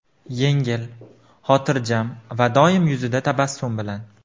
Yengil, xotirjam va doimo yuzida tabassum bilan.